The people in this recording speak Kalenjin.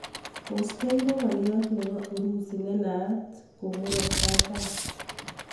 Vostoik ko ngolyoot nepo urusi nenaat ko Murat katam